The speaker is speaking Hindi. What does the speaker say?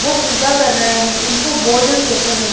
वो पूजा कर रहे हैं इनको बोध कहते हैं।